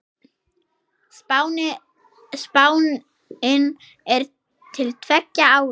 Spáin er til tveggja ára.